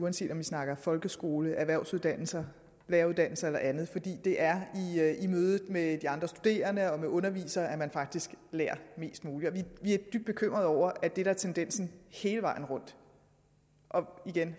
uanset om vi snakker folkeskole erhvervsuddannelser læreruddannelser eller andet fordi det er i mødet med de andre studerende og med undervisere at man faktisk lærer mest muligt vi er dybt bekymrede over at det der er tendensen hele vejen rundt